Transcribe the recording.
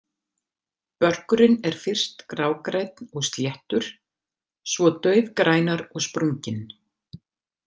Börkurinn er fyrst grágrænn og sléttur, svo daufgrænar og sprunginn.